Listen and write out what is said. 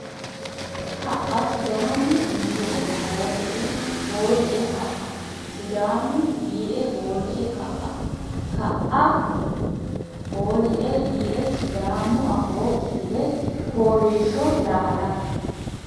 ka Sidaamu yiie hooli e ka Sidaamu yiie hooli e ka ka e hooli yiie Sidaamu Afoo Kifile Fooliishsho Lamala !